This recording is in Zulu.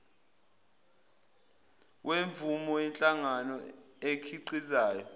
wemvume yenhlangano ekhiqizayo